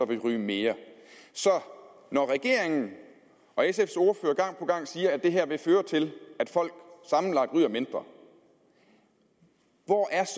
vil ryge mere så når regeringen og sfs ordfører gang på gang siger at det her vil føre til at folk sammenlagt ryger mindre hvor er